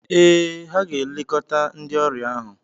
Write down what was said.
Ee, ha ga-elekọta ndị ọrịa ahụ.